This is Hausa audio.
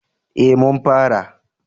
eh mun fara